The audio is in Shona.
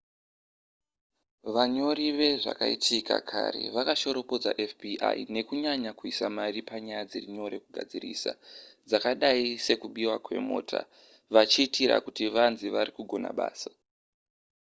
vanyori vezvakaitika kare vakashoropodza fbi nekunyanya kuisa mari panyaya dziri nyore kugadzirisa dzakadai sedzekubiwa kwemota vachitira kuti vanzi vari kugona basa